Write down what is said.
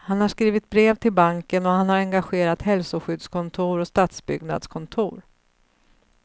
Han har skrivit brev till banken och han har engagerat hälsoskyddskontor och stadsbyggnadskontor.